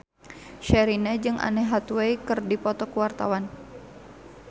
Sherina jeung Anne Hathaway keur dipoto ku wartawan